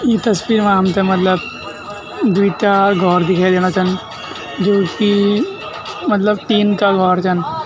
ई तस्वीर मा हमथे मतलब द्वि-चार घौर दिखाई देणा छन जू की मतलब टीन का घौर छन।